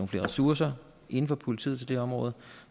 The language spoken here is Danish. flere ressourcer inden for politiet til det her område